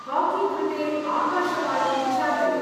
Hockey कृते आकाशवाणीं चालय।